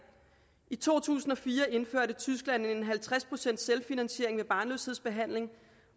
i to tusind og fire indførte tyskland en halvtreds procent selvfinansiering af barnløshedsbehandling